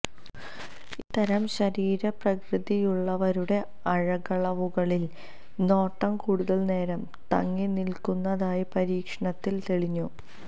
ഇത്തരം ശരീരപ്രകൃതിയുള്ളവരുടെ അഴകളവുകളിൽ നോട്ടം കൂടുതൽ നേരം തങ്ങിനിൽക്കുന്നതായി പരീക്ഷണത്തിൽ തെളിഞ്ഞു